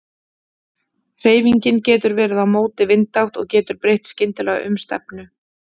Hreyfingin getur verið á móti vindátt og getur breytt skyndilega um stefnu.